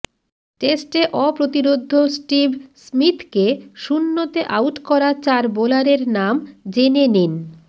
টেস্টে অপ্রতিরোধ্য স্টিভ স্মিথকে শূণ্যতে আউট করা চার বোলারের নাম জেনে নিন